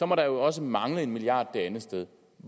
må der jo også mangle en milliard kroner det andet sted